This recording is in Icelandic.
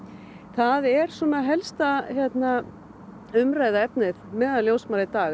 það er helsta umræðuefnið meðal ljósmæðra í dag